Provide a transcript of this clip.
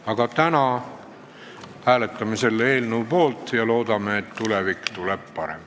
Aga täna me hääletame selle eelnõu poolt ja loodame, et tulevik tuleb parem.